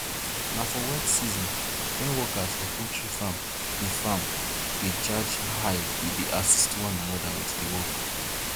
na for wet season when workers for poultry farm dey farm dey charge high we dey assist one another with the work